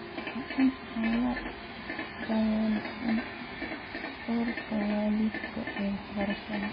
Waa in aan la dhayalsan doorka waalidka ee waxbarashada.